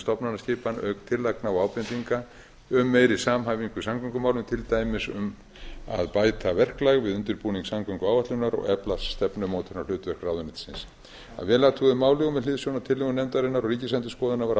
stofnanaskipan auk tillagna og ábendinga um meiri samhæfingu í samgöngumálum til dæmis um að bæta verklag við undirbúning samgönguáætlunar og efla stefnumótunarhlutverk ráðuneytisins að vel athuguðu máli og með hliðsjón af tillögu nefndarinnar og ríkisendurskoðunar var